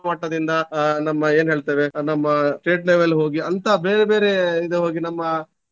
ಅಹ್ ನಮ್ಮ ಏನ್ ಹೇಳ್ತೇವೆ ನಮ್ಮ state level ಹೋಗಿ ಅಂತ ಬೇರೆ ಬೇರೆ ಇದು ಹೋಗಿ ನಮ್ಮ